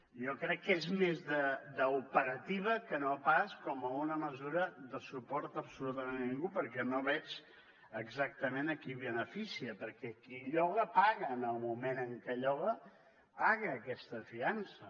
jo crec que és més d’operativa que no pas com a una mesura de suport absolutament a ningú perquè no veig exactament a qui beneficia perquè qui lloga paga en el moment en què lloga paga aquesta fiança